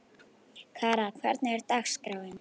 Kara, hvernig er dagskráin?